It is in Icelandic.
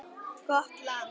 Gott land.